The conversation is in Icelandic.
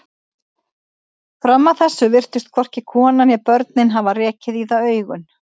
Fram að þessu virtust hvorki konan né börnin hafa rekið í það augun.